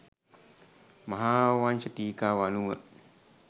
මහාවංශ ටීකාව අනුව